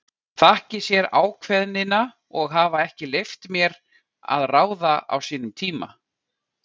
Þakki sér ákveðnina að hafa ekki leyft mér að ráða á sínum tíma.